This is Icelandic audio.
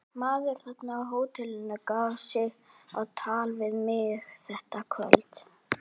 Maður þarna á hótelinu gaf sig á tal við mig þetta kvöld.